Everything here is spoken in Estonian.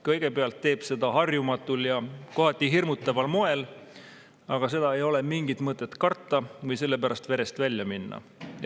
Kõigepealt teeb ta seda harjumatul ja kohati hirmutaval moel, aga seda ei ole mingit mõtet karta või selle pärast verest välja minna.